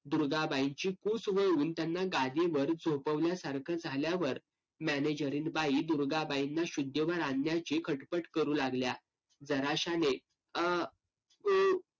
दुर्गाबाईंची कुस वळवून त्यांना गादीवर झोपवल्यासारखं झाल्यावर मॅनेजरीनबाई दुर्गाबाईंना शुद्धीवर आणण्याची खटपट करू लागल्या. जराशाने आह अं